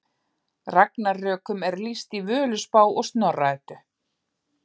Ragnarökum er lýst í Völuspá og Snorra Eddu.